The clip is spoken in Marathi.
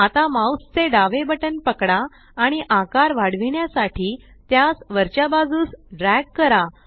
आता माउस चे डावे बटन पकडा आणि आकार वाढविण्यासाठी त्यास वरच्या बाजूस ड्रॅग करा